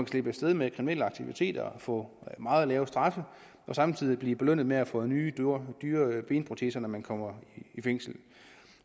slippe af sted med kriminelle aktiviteter få meget lave straffe og samtidig blive belønnet med at få nye dyre benproteser når man kommer i fængsel